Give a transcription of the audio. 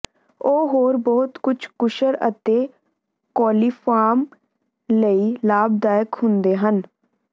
ਉਹ ਹੋਰ ਬਹੁਤ ਕੁਝ ਕੁਸ਼ਲ ਅਤੇ ਕੋਲੀਫਾਰਮ ਲਈ ਲਾਭਦਾਇਕ ਹੁੰਦੇ ਹਨ